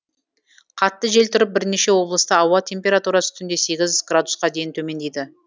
қатты жел тұрып бірнеше облыста ауа температурасы түнде сегіз градусқа дейін төмендейді